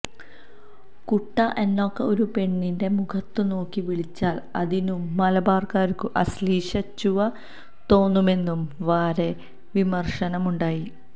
കുട്ടാ എന്നൊക്കെ ഒരു പെണ്ണിന്റെ മുഖത്തുനോക്കി വിളിച്ചാൽ അതിനു മലബാർകാർക്കു അശ്ലീലച്ചുവ തോന്നുമെന്നും വരെ വിമർശനമുണ്ടായി